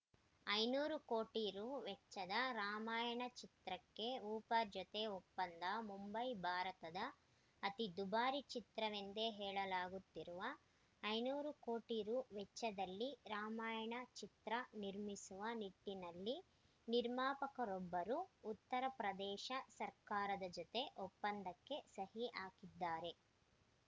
ಐದುನೂರು ಕೋಟಿ ರು ವೆಚ್ಚದ ರಾಮಾಯಣ ಚಿತ್ರಕ್ಕೆ ಉತ್ತರ ಪ್ರದೇಶ ಜೊತೆ ಒಪ್ಪಂದ ಮುಂಬೈ ಭಾರತದ ಅತೀ ದುಬಾರಿ ಚಿತ್ರವೆಂದೇ ಹೇಳಲಾಗುತ್ತಿರುವ ಐನೂರು ಕೋಟಿ ರು ವೆಚ್ಚದಲ್ಲಿ ರಾಮಾಯಣ ಚಿತ್ರ ನಿರ್ಮಿಸುವ ನಿಟ್ಟಿನಲ್ಲಿ ನಿರ್ಮಾಪಕರೊಬ್ಬರು ಉತ್ತರ ಪ್ರದೇಶ ಸರ್ಕಾರದ ಜೊತೆ ಒಪ್ಪಂದಕ್ಕೆ ಸಹಿ ಹಾಕಿದ್ದಾರೆ